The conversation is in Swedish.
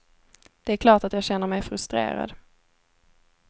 Det är klart att jag känner mig frustrerad.